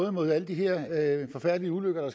om at det her er idé